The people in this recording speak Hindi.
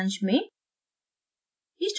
सारांश में